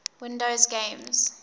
windows games